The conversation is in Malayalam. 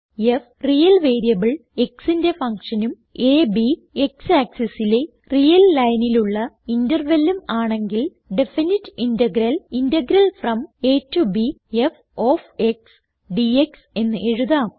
f റിയൽ വേരിയബിൾ xന്റെ ഫങ്ഷനും അ b x ആക്സിസ് ലെ റിയൽ ലൈനിലുള്ള intervalഉം ആണെങ്കിൽ definite integral integral from a to b f of x d x എന്ന് എഴുതാം